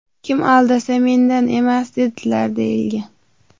Kim aldasa, mendan emas!” dedilar», deyilgan.